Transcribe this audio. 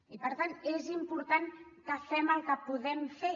i per tant és important que fem el que podem fer